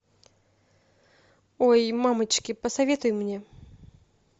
ой мамочки посоветуй мне